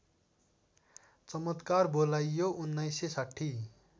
चमत्कार बोलाइयो १९६०